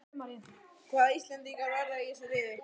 Hvaða íslendingar verða í þessu liði?